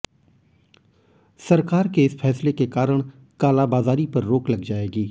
सरकार के इस फैसले के कारण कालाबाजारी पर रोक लग जाएगी